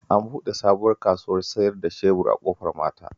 An buɗe sabuwar kasuwar siyar da shebur a Ƙofar Mata